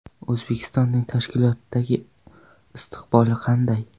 O‘zbekistonning tashkilotdagi istiqboli qanday?